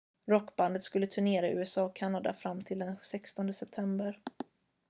rockbandet skulle turnera i usa och kanada fram till den 16 september